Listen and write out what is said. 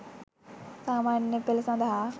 සාමාන්‍ය පෙළ සඳහා